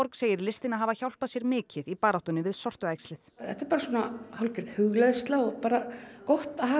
segir listina hafa hjálpað sér mikið í baráttunni við sortuæxlið þetta er bara hálfgerð hugleiðsla og gott að hafa